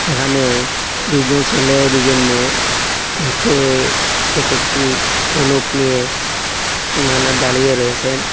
এখানে দুইজন সেলে ও দুইজন মেয়ে হাতে এক একটি ধনুক নিয়ে সীমানা দাড়িয়ে রয়েসেন।